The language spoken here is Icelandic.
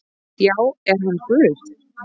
Já, er hann Guð?